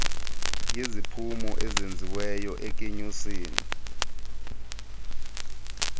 yeziphumo ezenziwayo ekunyuseni